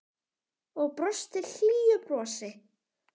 Og brosti hlýju brosi.